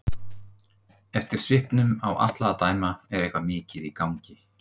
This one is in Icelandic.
Eftir svipnum á Atla að dæma er eitthvað mikið í gangi.